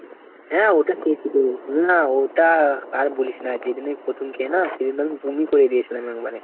হ্যাঁ ওটা চেয়ছি তো, না, ওটা আর বলিস না যেদিন আমি প্রথম খেয় না সেদিন তো আমি বমি করে দিয়ছিলাম একবারে।